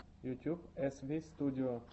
ютуб эсвистудио